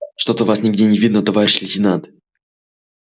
что то вас нигде не видно товарищ лейтенант